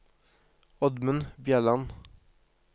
Oddmund Bjelland